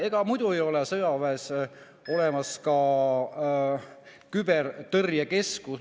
Ega muidu ei oleks sõjaväes olemas ka küberkaitse keskus.